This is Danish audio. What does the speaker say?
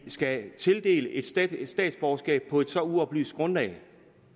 skal tildeles et statsborgerskab på et så uoplyst grundlag